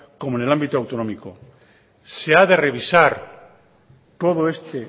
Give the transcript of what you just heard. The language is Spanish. como en el ámbito autonómico se ha de revisar todo este